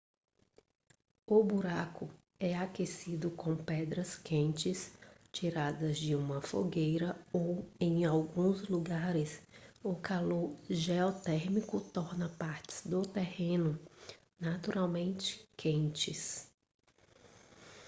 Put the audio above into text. o buraco é aquecido com pedras quentes tiradas de uma fogueira ou em alguns lugares o calor geotérmico torna partes do terreno naturalmente quentes